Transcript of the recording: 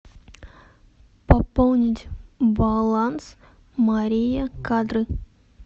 пополнить баланс мария кадры